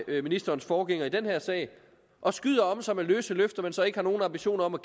med ministerens forgænger i den her sag og skyder om sig med løse løfter man ikke har nogen ambitioner om at